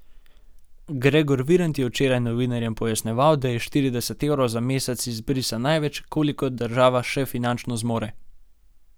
Gregor Virant je včeraj novinarjem pojasnjeval, da je štirideset evrov za mesec izbrisa največ, kolikor država še finančno zmore.